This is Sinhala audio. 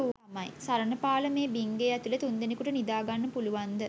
සරණපාල මේ බිංගේ ඇතුලෙ තුන්දෙනෙකුට නිදා ගන්න පුළුවන්ද?